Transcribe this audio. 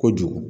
Kojugu